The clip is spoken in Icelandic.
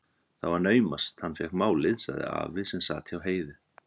Það var naumast hann fékk málið, sagði afi sem sat hjá Heiðu.